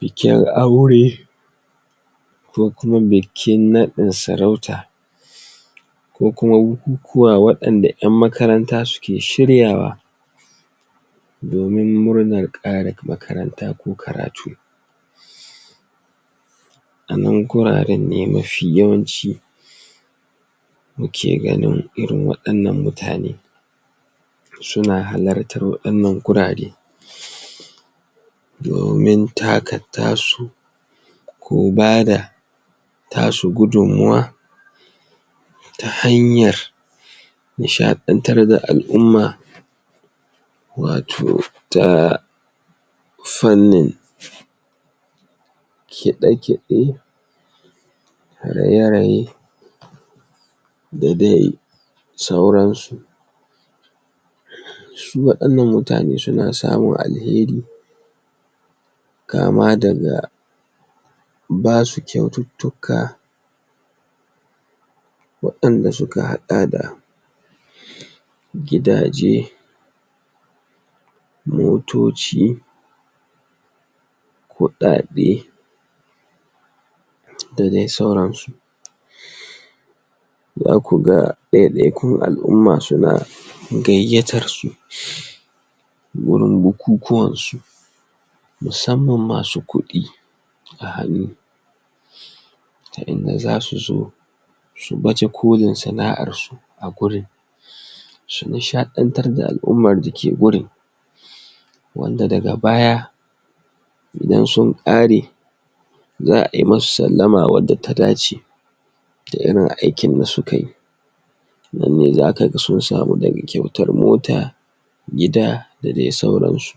bikin aure ko kuma bikin nadin sarauta ko kuma bukun kuwa wayan da yan makaranta suke shiryawa domin murnar kare makaranta ko karatu a nan guraren ne mafi yawanci muke ganin irin wayan nan mutane suna halattan wayan nan hurare domin taka tasu kula da tasu gudun mawan ta hanyar ni shadan tar da al'umma wato ta farnin kide-kide raye raye da dai sauran su su wayan nan mutane suna samun alheri kama da ga basu kyautittika wayan da suka hada da gidaje motoci kudade dadai sauran su za ku ga daidai kun al'umma suna gaiyatan su gurin bukukuwan su musamman masu kudi a hanu ta inda za su zo su baje kolin sana'an su a gurin su nishadan tar da alumman su ta hurin wan da daga baya idan sun kare zaa yi musu sallama wanda ta dace da irin aikin da suka yi nanne zaka ga sun samu daga kyautan mota gida da dai sauran su